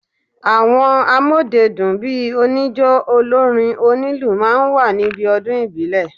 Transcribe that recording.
Àwọn amọ́dedún bíi oníjó, olórin, onílù máa ń wà níbi ọdún ìbílẹ̀.